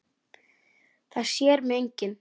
Það sér mig enginn.